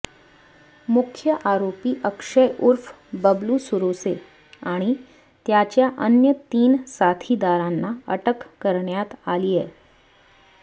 मुख्य आरोपी अक्षय उर्फ बबलू सुरोसे आणि त्याच्या अन्य तीन साथीदारांना अटक करण्यात आलीय